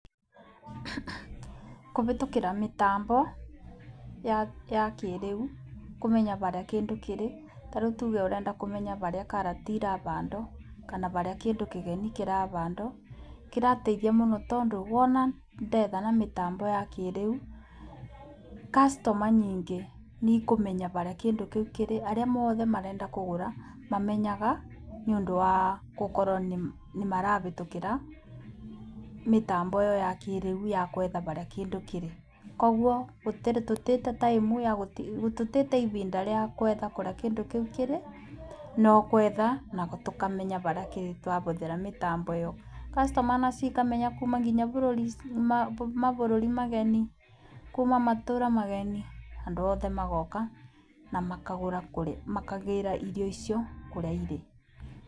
Kũhĩtũkĩra mĩtambo ya kĩrĩu, kũmenya harĩa kĩndũ kĩrĩ, nĩtuge ũrenda kũmenya harĩa karati irahandwo na harĩa kĩndũ kĩgeni kĩrahandwo kĩrateithia mũno tondũ wona ndetha na mĩtambo ya kĩrĩu, customer nyingĩ nĩikũmenya harĩa kĩndũ kĩu kĩrĩ.Arĩa othe marenda kũgũra mamenyaga ũndũ wa gũkorwo nĩ marahĩtũkĩra mĩtambo ĩyo ya kĩrĩu ya gwetha harĩa kĩndũ kĩrĩ. Kwoguo tũtigũtee ihinda rĩa gwetha kũrĩa kĩndũ kĩu kĩrĩ no gwetha na tũkamenya harĩa kĩrĩ twahũthĩra mĩtambo ĩyo. Customer nacio ikamenya nginya kuma mabũrũri mageni, andũ othe magooka na makagĩĩra irio icio kũrĩa irĩ.